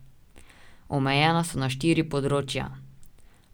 Omejena so na štiri področja.